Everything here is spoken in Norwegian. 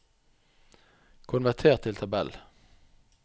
konverter til tabell